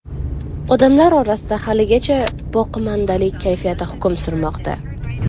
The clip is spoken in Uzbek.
Odamlar orasida haligacha boqimandalik kayfiyati hukm surmoqda.